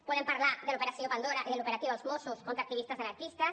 podem parlar de l’operació pandora i de l’operatiu dels mossos contra activistes anarquistes